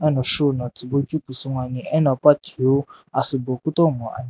eno shoe no tsubui keu pusu ngoani ena pa thiu asübo kutomo ani.